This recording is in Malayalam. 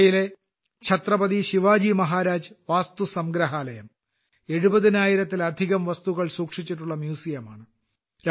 മുംബൈയിലെ ഛത്രപതി ശിവാജി മഹാരാജ് വാസ്തുസംഗ്രഹാലയം 70000 ലധികം വസ്തുക്കൾ സൂക്ഷിച്ചിട്ടുള്ള മ്യൂസിയമാണ്